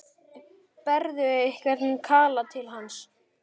Berðu einhvern kala til hans?